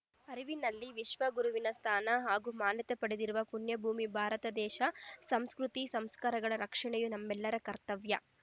ಅರಿವಿನಲ್ಲಿ ವಿಶ್ವ ಗುರುವಿನ ಸ್ಥಾನ ಹಾಗೂ ಮಾನ್ಯತೆ ಪಡೆದಿರುವ ಪುಣ್ಯಭೂಮಿ ಭಾರತ ದೇಶ ಸಂಸ್ಕೃತಿ ಸಂಸ್ಕಾರಗಳ ರಕ್ಷಣೆಯು ನಮ್ಮೆಲ್ಲರ ಕರ್ತವ್ಯ